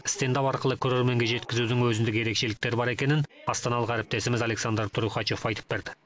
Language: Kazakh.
стендап арқылы көрерменге жеткізудің өзіндік ерекшеліктері бар екенін астаналық әріптесіміз александр трухачев айтып берді